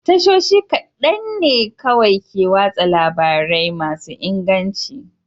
Tashoshi kaɗan ne kawai ke watsa labarai masu inganci.